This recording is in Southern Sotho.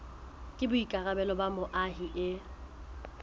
ke boikarabelo ba moahi e